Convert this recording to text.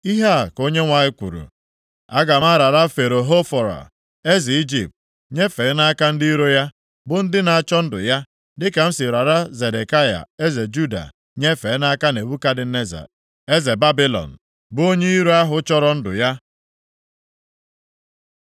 Ihe a ka Onyenwe anyị kwuru, ‘Aga m arara Fero Hofra, eze Ijipt nyefee nʼaka ndị iro ya, bụ ndị na-achọ ndụ ya, dịka m si rara Zedekaya eze Juda, nyefee nʼaka Nebukadneza eze Babilọn, bụ onye iro ahụ chọrọ ndụ ya.’ ”